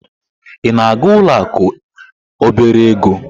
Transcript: Ị na-aga ụlọ akụ obere ego?